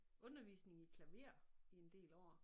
Undervisning i klaver i en del år